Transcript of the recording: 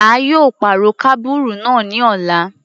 A yóò pàrọ̀ kábùrù náà ní ọ̀la.